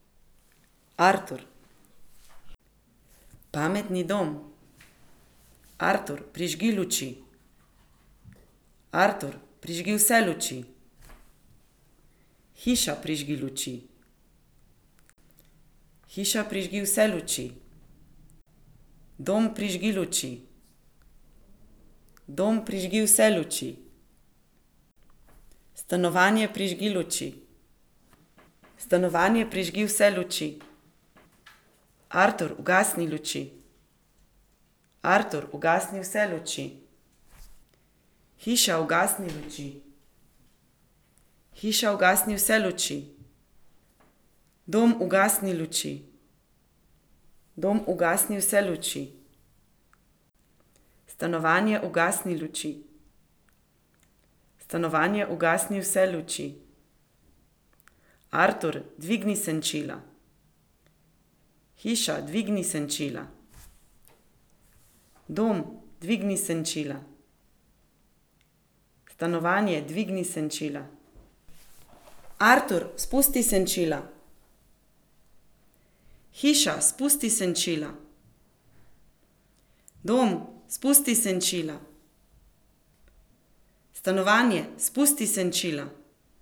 Artur. Pametni dom. Artur, prižgi luči. Artur, prižgi vse luči. Hiša, prižgi luči. Hiša, prižgi vse luči. Dom, prižgi luči. Dom, prižgi vse luči. Stanovanje, prižgi luči. Stanovanje, prižgi vse luči. Artur, ugasni luči. Artur, ugasni vse luči. Hiša, ugasni luči. Hiša, ugasni vse luči. Dom, ugasni luči. Dom, ugasni vse luči. Stanovanje, ugasni luči. Stanovanje, ugasni vse luči. Artur, dvigni senčila. Hiša, dvigni senčila. Dom, dvigni senčila. Stanovanje, dvigni senčila. Artur, spusti senčila. Hiša, spusti senčila. Dom, spusti senčila. Stanovanje, spusti senčila.